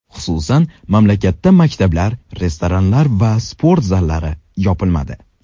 Xususan, mamlakatda maktablar, restoranlar va sport zallari yopilmadi.